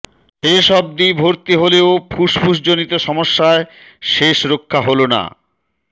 শেষ অবধি ভর্তি হলেও ফুসফুস জনিত সমস্যায় শেষ রক্ষা হল না